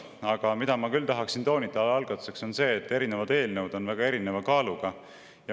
Aga ma tahaksin algatuseks toonitada seda, et eelnõud on väga erineva kaaluga.